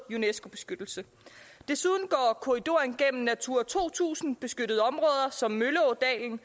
unescobeskyttelse desuden går korridoren gennem natura to tusind beskyttede områder som mølleådalen